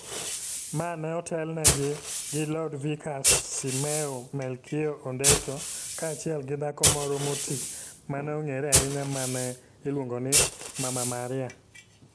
Ma ne otelnegi gi Lodvikus Simeo Melkio Ondetto kaachiel gi dhako moro moti ma ne ong'ere ahinya ma ne iluongo ni Mama Maria.